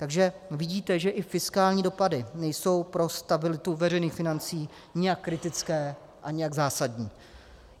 Takže vidíte, že i fiskální dopady nejsou pro stabilitu veřejných financí nijak kritické a nijak zásadní.